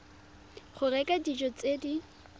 go reka dijo tse di